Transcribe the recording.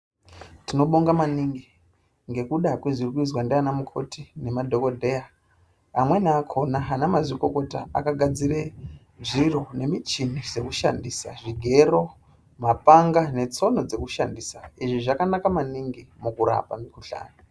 Tinobonga maningi ngekuda nezviri kuizwa nana mukoti nemadhokodheya amweni akona ana mazvikokota akagadzira zviro nemichini zvoshandisa zvigero mapanga netsono dzokurapira izvi zvakanaka maningi mukurapa mukuhlani.